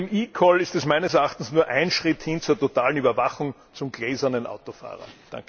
Mit dem eCall ist es meines Erachtens nur ein Schritt hin zur totalen Überwachung zum gläsernen Autofahrer.